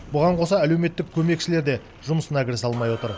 бұған қоса әлеуметтік көмекшілер де жұмысына кірісе алмай отыр